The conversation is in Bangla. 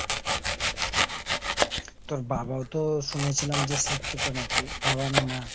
তোর বাবাও তো শুনেছিলাম যে শিক্ষিত নাকি ? বাবা না মা ?